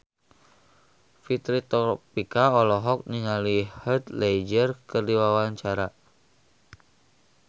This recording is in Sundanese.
Fitri Tropika olohok ningali Heath Ledger keur diwawancara